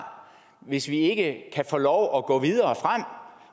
hvis vi ikke kan få lov at gå videre